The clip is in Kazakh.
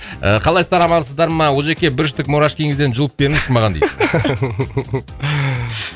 ыыы қалайсыздар амансыздарма олжеке бір штук мурашкиіңізден жұлып беріңізші маған дейді